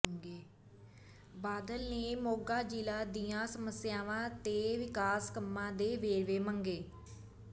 ਬਾਦਲ ਨੇ ਮੋਗਾ ਜ਼ਿਲ੍ਹੇ ਦੀਆਂ ਸਮੱਸਿਆਵਾਂ ਤੇ ਵਿਕਾਸ ਕੰਮਾਂ ਦੇ ਵੇਰਵੇ ਮੰਗੇ